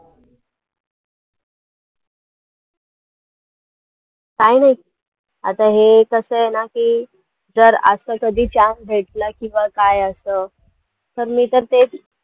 काही नाही आता हे कसं आहे ना जर असं कधी chance भेटला किंवा काय असं तर मी तर तेच